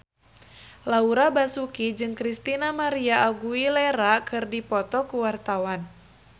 Laura Basuki jeung Christina María Aguilera keur dipoto ku wartawan